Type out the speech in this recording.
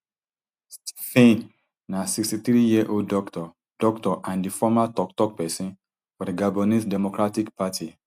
stphane na sixty-threeyearold doctor doctor and di former toktok pesin for di gabonese democratic party